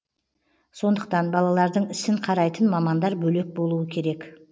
сондықтан балалардың ісін қарайтын мамандар бөлек болуы керек